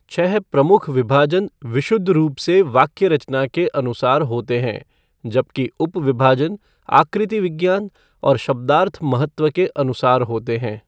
छः प्रमुख विभाजन विशुद्ध रूप से वाक्य रचना के अनुसार होते हैं, जबकि उप विभाजन आकृति विज्ञान और शब्दार्थ महत्व के अनुसार होते हैं।